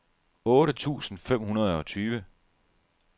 otte tusind fem hundrede og tyve